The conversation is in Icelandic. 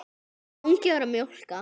Mangi var að mjólka.